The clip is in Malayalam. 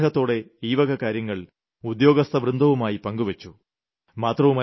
ഞാൻ വളരെ ആഗ്രഹത്തോടെ ഈ വക കാര്യങ്ങൾ ഉദ്യോഗസ്ഥവൃന്ദവുമായി പങ്കുവെച്ചു